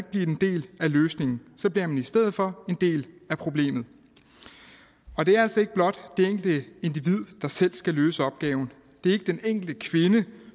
blive en del af løsningen så bliver man i stedet for en del af problemet og det er altså ikke blot det enkelte individ der selv skal løse opgaven det er ikke den enkelte kvinde